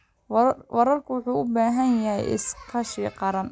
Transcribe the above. Waraabku waxa uu u baahan yahay iskaashi qaran.